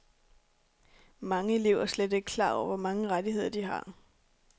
Mange elever er slet ikke klar over, hvor mange rettigheder, de har.